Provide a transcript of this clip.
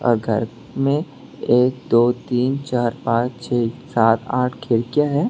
और घर में एक दो तीन चार पांच छः सात आठ खिड़कियां है।